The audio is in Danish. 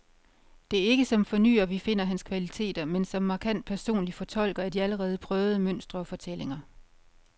Det er ikke som fornyer, vi finder hans kvaliteter, men som markant personlig fortolker af de allerede prøvede mønstre og fortællinger.